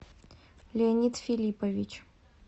леонид филиппович